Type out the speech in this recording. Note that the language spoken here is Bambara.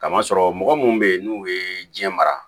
Kamasɔrɔ mɔgɔ munnu be yen n'u ye diɲɛ mara